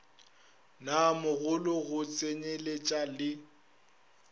naa mogolo go tsenyeletša le